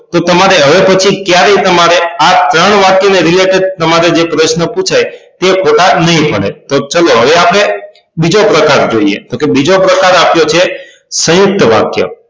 તો તમારે હવે પછી ક્યારેય તમારે આ ત્રણ વાક્ય ને Related તમારે જે પ્રશ્ન પુછાય તે ખોટાં નય પડે તો ચલો હવે આપણે બીજો પ્રકાર જોઈએ તો કે બીજો પ્રકાર આપ્યો છે સયુંકત વાક્ય